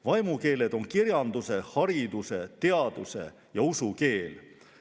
Vaimukeeled on kirjanduse, hariduse, teaduse ja usu keel.